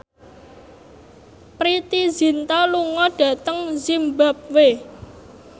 Preity Zinta lunga dhateng zimbabwe